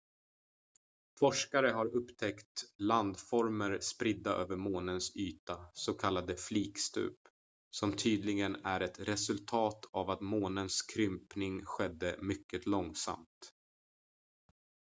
forskare har upptäckt landformer spridda över månens yta s.k. flikstup som tydligen är ett resultat av att månens krympning skedde mycket långsamt